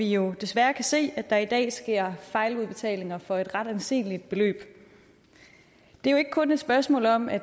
jo desværre se at der i dag sker fejludbetalinger for et ret anseligt beløb det er jo ikke kun et spørgsmål om at